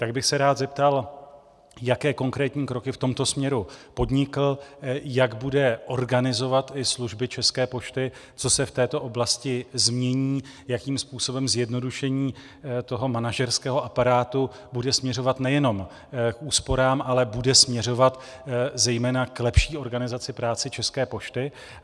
Tak bych se rád zeptal, jaké konkrétní kroky v tomto směru podnikl, jak bude organizovat i služby České pošty, co se v této oblasti změní, jakým způsobem zjednodušení toho manažerského aparátu bude směřovat nejenom k úsporám, ale bude směřovat zejména k lepší organizace práce České pošty.